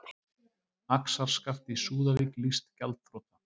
Axarskaft í Súðavík lýst gjaldþrota